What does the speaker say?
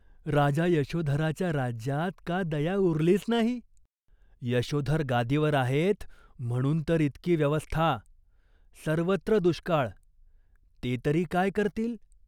राजा यशोधराच्या राज्यात का दया उरलीच नाही ?" "यशोधर गादीवर आहेत, म्हणून तर इतकी व्यवस्था. सर्वत्र दुष्काळ, ते तरी काय करतील ?